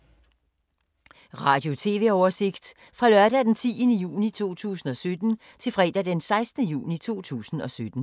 Radio/TV oversigt fra lørdag d. 10. juni 2017 til fredag d. 16. juni 2017